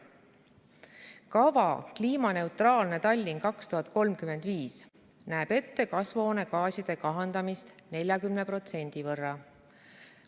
Kava "Kliimaneutraalne Tallinn 2035″ näeb ette kasvuhoonegaaside kahandamist 40% võrra.